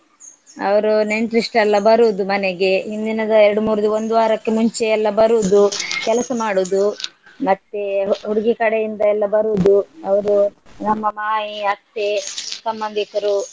ಅವ್ರು ನೆಂಟ್ರಿಸ್ಟ್ರೆಲ್ಲ ಬರುದು ಮನೆಗೆ ಹಿಂದಿನದ ಎರಡು ಮೂರು ಒಂದ್ ವಾರಕ್ಕೆ ಮುಂಚೆ ಎಲ್ಲಾ ಬರುದು ಕೆಲಸ ಮಾಡುದು ಮತ್ತೇ ಹುಡ್ಗಿ ಕಡೆ ಇಂದ ಎಲ್ಲಾ ಬರುದು. ಅವ್ರು ನಮ್ಮ ಮಾಮಿ ಅತ್ತೆ ಸಂಬಂದಿಕ್ರು.